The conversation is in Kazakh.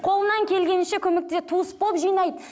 қолынан келгенінше көмектеседі туыс болып жинайды